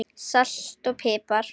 Salt og pipar